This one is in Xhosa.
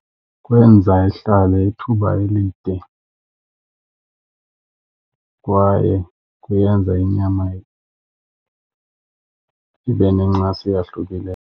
Kwenza ihlale ithuba elide kwaye kuyenza inyama ibe nencasa eyahlukile.